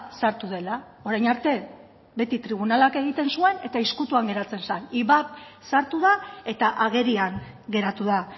sartu dela orain arte beti tribunalak egiten zuen eta ezkutuan geratzen zen ivap sartu da eta agerian geratu da